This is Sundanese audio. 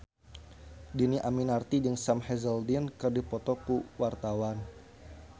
Dhini Aminarti jeung Sam Hazeldine keur dipoto ku wartawan